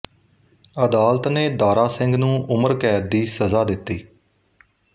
ਅਦਾਲਤ ਨੇ ਦਾਰਾ ਸਿੰਘ ਨੂੰ ਉਮਰਕੈਦ ਦੀ ਸਜ਼ਾ ਦਿੱਤੀ